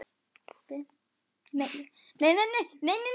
Andri: Getið þið sagt mér hversu miklu máli það skiptir?